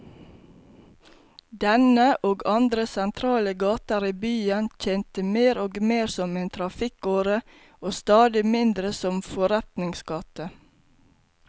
Denne, og andre sentrale gater i byen, tjente mer og mer som en trafikkåre og stadig mindre som forretningsgate.